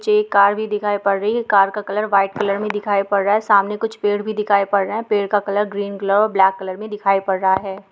मुझे एक कार भी दिखाई पड़ रही है| कार का कलर व्हाइट कलर में दिखाई पड़ रहा है| सामने कुछ पेड़ भी दिखाई पड़ रहा है| पेड़ का colour green colour black colour में दिखाई पड़ रहा है।